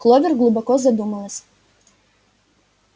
кловер глубоко задумалась